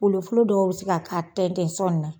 Olu fulo dɔw bɛ se ka ka tɛn tɛn son na.